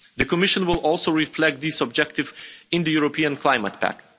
The Commission will also reflect this objective in the European Climate Pact.